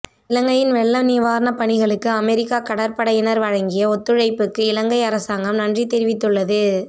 இலங்கையின் வெள்ள நிவாரணப்பணிகளுக்கு அமெரிக்க கடற்படையினர் வழங்கிய ஒத்துழைப்புக்கு இலங்கை அரசாங்கம் நன்றி தெரிவித்துள்ளது